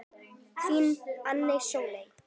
Þín, Anna Sóley.